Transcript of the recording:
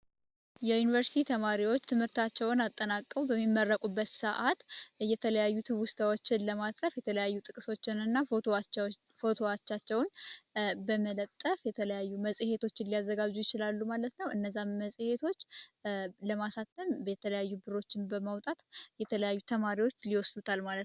የዩኒቨርሲቲ ተማሪዎች ትምህርታቸውን አጠናቀው በሚመረቁበት ሰዓት እየተለያዩት ውስታዎችን ለማጥረፍ የተለያዩ ጥቅሶችን እና ፎቶዋቻቸውን በመለጠፍ የተለያዩ መጽሔቶችን ሊያዘጋዙ ይችላሉ ማለት ነው። እነዛም መጽሔቶች ለማሳተም የተለያዩ ብሮችን በማውጣት የተለያዩ ተማሪዎች ሊወስሉታል ማለት ነው።